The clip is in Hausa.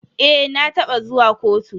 Eh, na taba zuwa kotu.